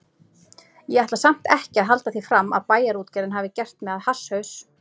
Ég ætla samt ekki að halda því fram að Bæjarútgerðin hafi gert mig að hasshaus.